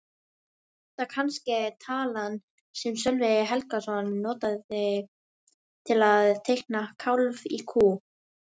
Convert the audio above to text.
Er þetta kannske talan sem Sölvi Helgason notaði til að reikna kálf í kú?